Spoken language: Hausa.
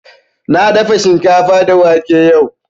Na dafa shinkafa da wake yau